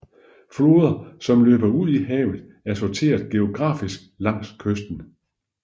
Floder som løber ud i havet er sorteret geografisk langs kysten